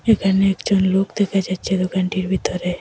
এখানে একজন লোক দেখা যাচ্ছে দোকানটির ভিতরে।